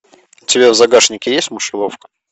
у тебя в загашнике есть мышеловка